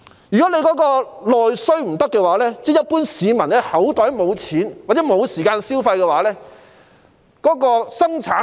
如果沒有內需，即一般市民口袋裏沒有錢或沒有時間消費，便無法催谷生產。